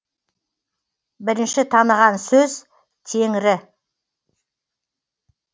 бірінші таныған сөз теңрі